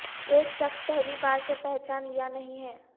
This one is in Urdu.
ایک شخص پہلی بار سے پہچان لیا نہیں ہے